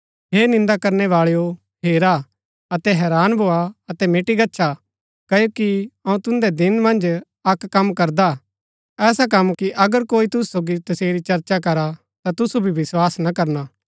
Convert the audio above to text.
हे निन्दा करनैवाळैओ हेरा अतै हैरान भोआ अतै मिटी गच्छा क्ओकि अऊँ तुन्दै दिन मन्ज अक्क कम करदा हा ऐसा कम कि अगर कोई तुसु सोगी तसेरी चर्चा करा ता तुसु भी विस्वास ना करणा